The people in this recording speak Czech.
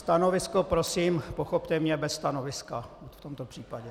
Stanovisko - prosím, pochopte mě, bez stanoviska v tomto případě.